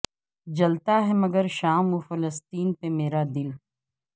جلتا ہے مگر شام و فلسطین پہ میر ا دل